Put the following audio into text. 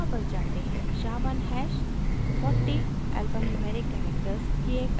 sha1 hash 40 alphanumeric characters की एक अद्वितीय आईडी है